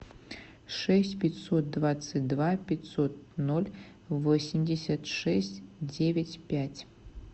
шесть пятьсот двадцать два пятьсот ноль восемьдесят шесть девять пять